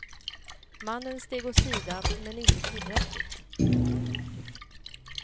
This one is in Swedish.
Mannen steg åt sidan men inte tillräckligt.